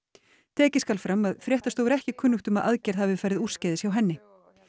tekið skal fram að fréttastofu er ekki kunnugt um að aðgerð hafi farið úrskeiðis hjá henni